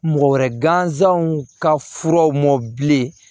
Mɔgɔ wɛrɛ gansanw ka furaw mɔbilen